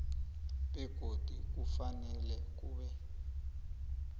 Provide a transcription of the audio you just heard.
begodu kufanele kube